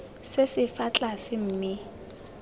se se fa tlase mme